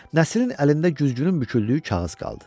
Nəsirin əlində güzgünün büküldüyü kağız qaldı.